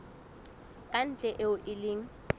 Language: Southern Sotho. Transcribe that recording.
ka ntle eo e leng